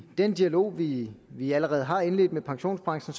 den dialog vi vi allerede har indledt med pensionsbranchen